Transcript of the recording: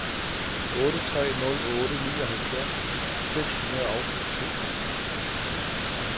otte tre nul otte nioghalvfjerds seks hundrede og tooghalvtreds